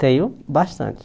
Tenho bastante.